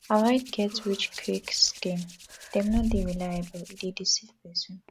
avoid getrichquick scheme dem no dey reliable e dey deceive pesin